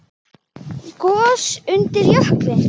Gos undir jökli